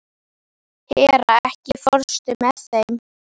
Hera, ekki fórstu með þeim?